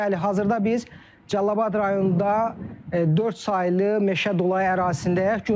Bəli, hazırda biz Cəlilabad rayonunda dörd saylı meşə dolu ərazisindəyik.